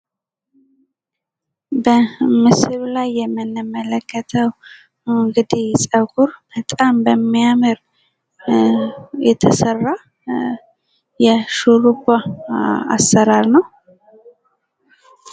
በምስሉ ላይ የምንመለከተው ፀጉር በጣም በሚያምር የተሰራ የሹርባ አሰራር ነው።